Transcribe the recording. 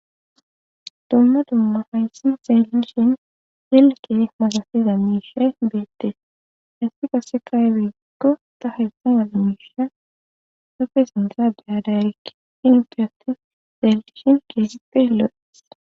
dumma dumma hayssi xelishin yelke masasiza miishee beette hessi qase kaywekko ta herssan yalamisha safe sindara behadariin fyati zeellishin kehippe sippe lo7es